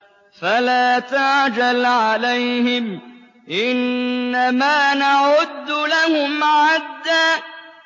فَلَا تَعْجَلْ عَلَيْهِمْ ۖ إِنَّمَا نَعُدُّ لَهُمْ عَدًّا